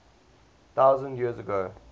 thousand years ago